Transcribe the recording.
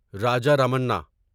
Raja Ramanna